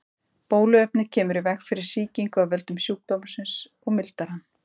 Bóluefnið kemur í veg fyrir sýkingu af völdum sjúkdómsins og mildar hann.